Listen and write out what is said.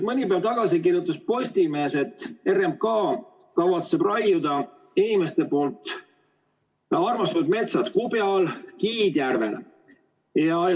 Mõni päev tagasi kirjutas Postimees, et RMK kavatseb raiuda inimeste armastatud metsad Kubijal ja Kiidjärvel.